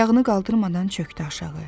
Ayağını qaldırmadan çökdü aşağı.